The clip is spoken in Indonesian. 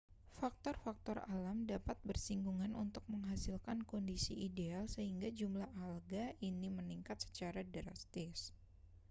faktor-faktor alam dapat bersinggungan untuk menghasilkan kondisi ideal sehingga jumlah alga ini meningkat secara drastis